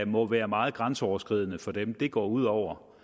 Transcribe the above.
må være meget grænseoverskridende for dem det går ud over